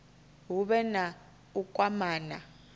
hu vhe na u kwamana